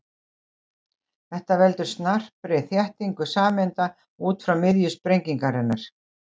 Þetta veldur snarpri þéttingu sameinda út frá miðju sprengingarinnar.